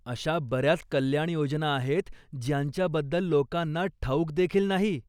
अशा बऱ्याच कल्याणयोजना आहेत, ज्यांच्याबद्दल लोकांना ठाऊक देखील नाही.